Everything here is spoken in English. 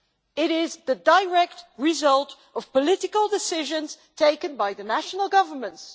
It is the direct result of political decisions taken by the national governments.